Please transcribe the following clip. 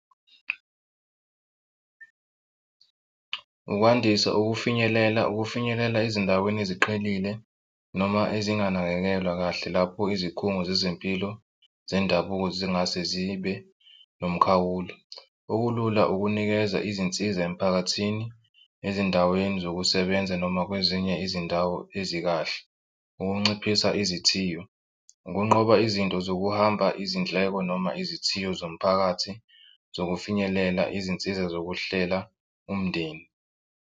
Ukwandisa ukufinyelela ukufinyelela ezindaweni eziqhelile noma ezinganakekelwa kahle lapho izikhungo zezempilo zendabuko zingase zibe nomkhawulo. Okulula ukunikeza izinsiza emiphakathini ezindaweni zokusebenza noma kwezinye izindawo ezikahle, ukunciphisa izithiyo, ukunqoba izinto zokuhamba izindleko noma izithiyo zomphakathi zokufinyelela izinsiza zokuhlela umndeni.